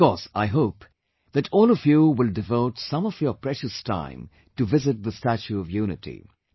Of course I hope, that all of you will devote some of your precious time to visit the 'Statue of Unity'